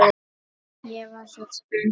Ég var svo spennt.